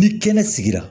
Ni kɛnɛ sigira